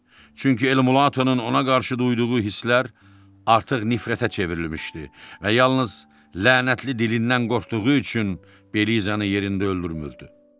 Çünki Elmulatonun ona qarşı duyduğu hisslər artıq nifrətə çevrilmişdi və yalnız lənətli dilindən qorxduğu üçün Belizanı yerində öldürmürdü.